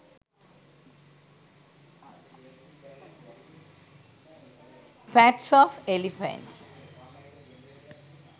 pats of elephants